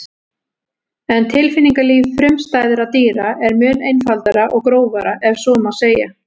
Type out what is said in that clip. En tilfinningalíf frumstæðra dýra er mun einfaldara og grófara ef svo má segja.